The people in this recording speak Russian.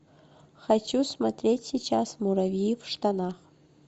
хочу смотреть сейчас муравьи в штанах